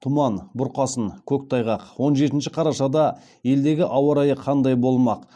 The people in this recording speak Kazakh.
тұман бұрқасын көктайғақ он жетінші қарашада елдегі ауа райы қандай болмақ